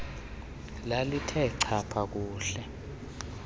lalithe chapha kuhle